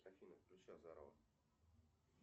афина включи азарова